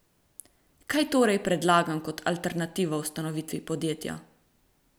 Kaj torej predlagam kot alternativo ustanovitvi podjetja?